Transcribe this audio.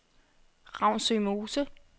Ravnsø Mose